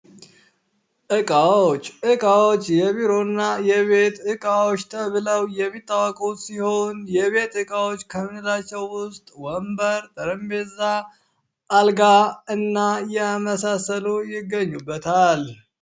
እቃዎች የቢሮና የቤት እቃዎች ተብለው የሚታወቁ ሲሆን የቤት እቃዎች ከምንላቸው ውስጥ ወንበር፣ ጠረጴዛ፣ አልጋ እና የመሳሰሉ ይገኙበታል።